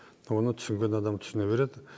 оны түсінген адам түсіне береді